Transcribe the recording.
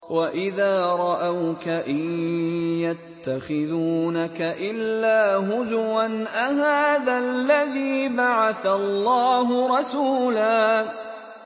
وَإِذَا رَأَوْكَ إِن يَتَّخِذُونَكَ إِلَّا هُزُوًا أَهَٰذَا الَّذِي بَعَثَ اللَّهُ رَسُولًا